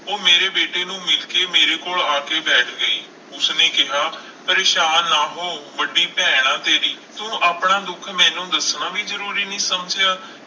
ਉਹ ਮੇਰੇ ਬੇਟੇ ਨੂੰ ਮਿਲ ਕੇ ਮੇਰੇ ਕੋਲ ਆ ਕੇ ਬੈਠ ਗਈ, ਉਸਨੇ ਕਿਹਾ ਪਰੇਸਾਨ ਨਾ ਹੋ ਵੱਡੀ ਭੈਣ ਹਾਂ ਤੇਰੀ, ਤੂੰ ਆਪਣਾ ਦੁੱਖ ਮੈਨੂੰ ਦੱਸਣਾ ਵੀ ਜ਼ਰੂਰੀ ਨਹੀਂ ਸਮਝਿਆ।